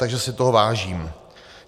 Takže si toho vážím.